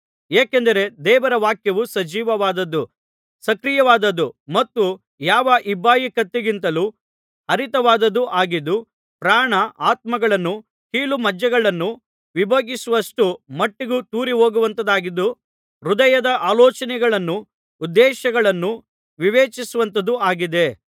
ಏಕೆಂದರೆ ದೇವರ ವಾಕ್ಯವು ಸಜೀವವಾದದ್ದು ಸಕ್ರಿಯವಾದದ್ದು ಮತ್ತು ಯಾವ ಇಬ್ಬಾಯಿ ಕತ್ತಿಗಿಂತಲೂ ಹರಿತವಾದದ್ದು ಆಗಿದ್ದು ಪ್ರಾಣ ಆತ್ಮಗಳನ್ನೂ ಕೀಲುಮಜ್ಜೆಗಳನ್ನೂ ವಿಭಾಗಿಸುವಷ್ಟು ಮಟ್ಟಿಗೂ ತೂರಿಹೋಗುವಂಥದಾಗಿದ್ದು ಹೃದಯದ ಆಲೋಚನೆಗಳನ್ನೂ ಉದ್ದೇಶಗಳನ್ನೂ ವಿವೇಚಿಸುವಂಥದ್ದೂ ಆಗಿದೆ